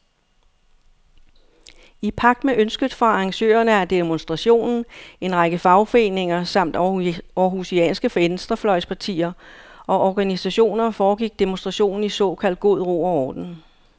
I pagt med ønsket fra arrangørerne af demonstrationen, en række fagforeninger samt århusianske venstrefløjspartier og organisationer, foregik demonstrationen i såkaldt god ro og orden.